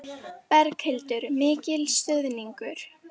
Berghildur: Mikil stuðningur?